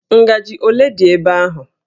Ngajị ole dị ebe ahụ?